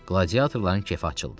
Qladiatorların kefi açıldı.